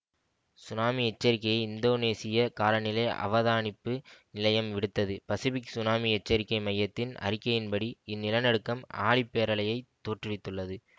tsunami எச்சரிக்கையை இந்தோனேசிய காலநிலை அவதானிப்பு நிலையம் விடுத்தது பசிபிக் சுனாமி எச்சரிக்கை மையத்தின் அறிக்கையின்படி இந்நிலநடுக்கம் ஆழிப்பேரலையைத் தோற்றுவித்துள்ளது